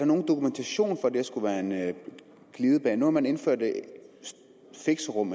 nogen dokumentation for at det her skulle være en glidebane nu har man indført fixerum